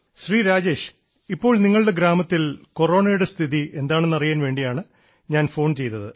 ശ്രീ രാജേഷ് ഇപ്പോൾ നിങ്ങളുടെ ഗ്രാമത്തിൽ കൊറോണയുടെ സ്ഥിതി എന്താണെന്നറിയാൻ വേണ്ടിയാണ് ഞാൻ ഫോൺ ചെയ്തത്